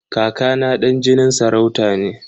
Kaka na ɗan jinin sarauta ne.